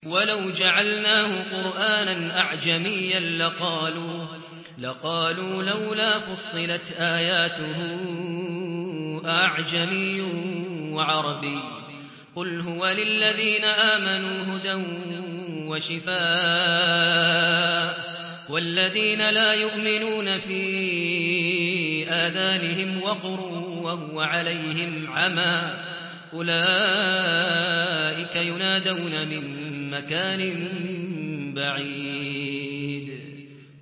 وَلَوْ جَعَلْنَاهُ قُرْآنًا أَعْجَمِيًّا لَّقَالُوا لَوْلَا فُصِّلَتْ آيَاتُهُ ۖ أَأَعْجَمِيٌّ وَعَرَبِيٌّ ۗ قُلْ هُوَ لِلَّذِينَ آمَنُوا هُدًى وَشِفَاءٌ ۖ وَالَّذِينَ لَا يُؤْمِنُونَ فِي آذَانِهِمْ وَقْرٌ وَهُوَ عَلَيْهِمْ عَمًى ۚ أُولَٰئِكَ يُنَادَوْنَ مِن مَّكَانٍ بَعِيدٍ